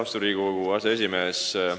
Austatud Riigikogu aseesimees!